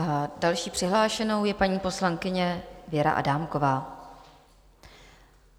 A další přihlášenou je paní poslankyně Věra Adámková.